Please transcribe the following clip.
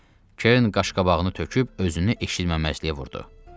Kern qaşqabağını töküb özünü eşitməməzliyə vurdu.